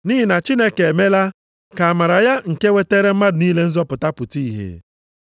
Nʼihi na Chineke emela ka amara ya nke wetaara mmadụ niile nzọpụta pụta ìhè.